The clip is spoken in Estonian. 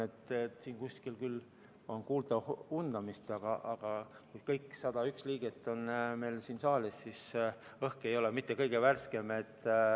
Siin kuskil on küll kuulda undamist, aga kui kõik 101 liiget on saalis, siis õhk ei ole mitte kõige värskem.